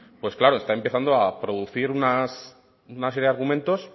pues claro está empezando a producir una serie de argumentos